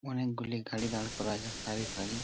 অনেকগুলি গাড়ি দাঁড় করা আছে সারি সারি।